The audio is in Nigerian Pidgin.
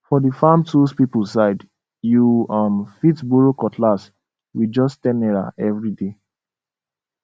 for the farm tools people side you um fit borrow cutlass with just ten naira every day